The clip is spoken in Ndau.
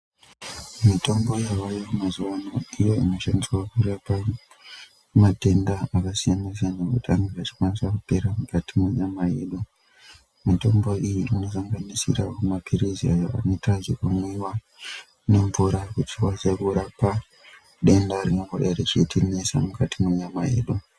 Mitombo yavayo mazuwano ndiyo inoshandiswa kurape matenda akasiyana-siyana ekuti anenge achikwanisa kupera mukati mwenyama yedu. Mitombo iyi inosanganisira maphirizi ayo anoita zvekumwiwa nemvura achikwanisa denda ringangodai richitinesa mukati mwenyama yedu.